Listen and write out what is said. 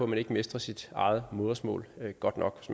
man ikke mestrer sit eget modersmål godt nok